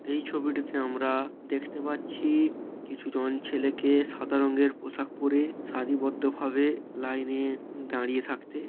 এই ছবিটিতে আমরা দেখতে পাচ্ছি-ই কিছুজন ছেলেকে সাদা রঙ্গের পোশাক পড়ে সারিবদ্ধ ভাবে লাইনে দাঁড়িয়ে থাকতে।